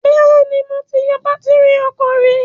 Bẹ́ẹ̀ni, mo ti yọ bátírì ọkọ̀